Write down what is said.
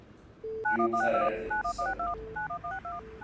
Jú, það er erfitt, sagði hann.